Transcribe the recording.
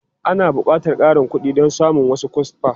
Ana buƙatar ƙarin kuɗi don samun wasu kwasfa.